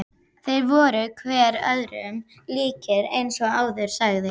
Þeir voru hver öðrum líkir eins og áður sagði.